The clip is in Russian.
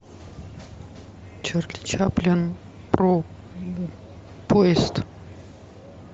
чарли чаплин про поезд